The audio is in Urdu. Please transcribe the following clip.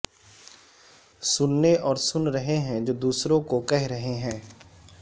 سننے اور سن رہے ہیں جو دوسروں کو کہہ رہے ہیں